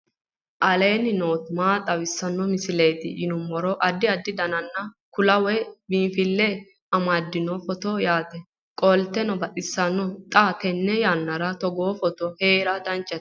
aleenni nooti maa xawisanno misileeti yinummoro addi addi dananna kuula woy biinfille amaddino footooti yaate qoltenno baxissannote xa tenne yannanni togoo footo haara danchate